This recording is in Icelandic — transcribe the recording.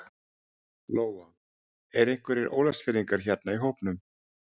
Lóa: Eru einhverjir Ólafsfirðingar hérna í hópnum?